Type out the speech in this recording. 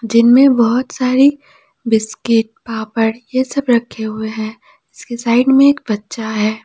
जिनमें बहुत सारी बिस्किट पापड़ ये सब रखे हुए हैं इसके साइड में एक बच्चा है।